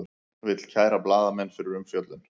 Vill kæra blaðamenn fyrir umfjöllun